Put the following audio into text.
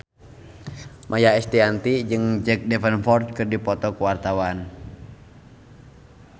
Maia Estianty jeung Jack Davenport keur dipoto ku wartawan